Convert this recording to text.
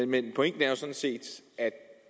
men pointen er jo sådan set at